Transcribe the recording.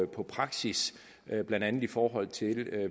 på praksis blandt andet i forhold til